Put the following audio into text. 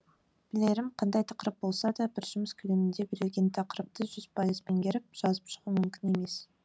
білерім қандай тақырып болса да бір жұмыс көлемінде берілген тақырыпты жүз пайыз меңгеріп жазып шығу мүмкін емес